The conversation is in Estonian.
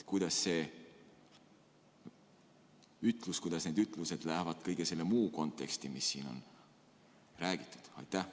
Kuidas see ütlus, kuidas need ütlused sobivad kõige selle konteksti, mis siin on räägitud?